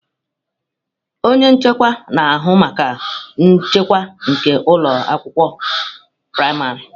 Onye nchekwa na-ahụ maka nchekwa nke ụlọ akwụkwọ praịmarị.